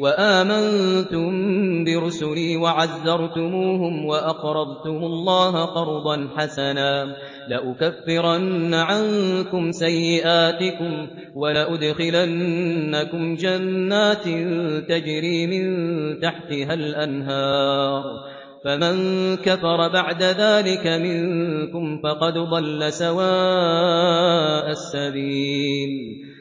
وَآمَنتُم بِرُسُلِي وَعَزَّرْتُمُوهُمْ وَأَقْرَضْتُمُ اللَّهَ قَرْضًا حَسَنًا لَّأُكَفِّرَنَّ عَنكُمْ سَيِّئَاتِكُمْ وَلَأُدْخِلَنَّكُمْ جَنَّاتٍ تَجْرِي مِن تَحْتِهَا الْأَنْهَارُ ۚ فَمَن كَفَرَ بَعْدَ ذَٰلِكَ مِنكُمْ فَقَدْ ضَلَّ سَوَاءَ السَّبِيلِ